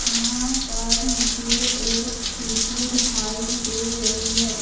यहां पर मुझे एक स्कूटी दिखाई दे रही है।